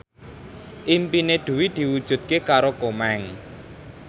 impine Dwi diwujudke karo Komeng